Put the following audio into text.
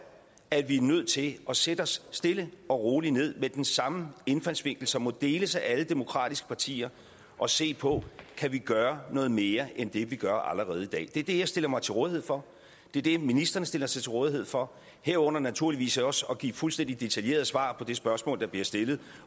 at vi er nødt til at sætte os stille og roligt ned med den samme indfaldsvinkel som må deles af alle demokratiske partier og se på kan vi gøre noget mere end det vi gør allerede i dag det er det jeg stiller mig til rådighed for det er det ministrene stiller sig til rådighed for herunder naturligvis også at give fuldstændig detaljerede svar på de spørgsmål der bliver stillet